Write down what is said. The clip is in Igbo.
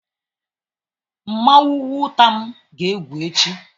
Nmanwu nwutam ga-egwu echi